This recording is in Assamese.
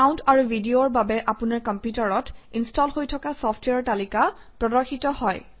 চাউণ্ড আৰু ভিডিঅৰ বাবে আপোনাৰ কম্পিউটাৰত ইনষ্টল হৈ থকা চফট্ৱেৰৰ তালিকা প্ৰদৰ্শিত হয়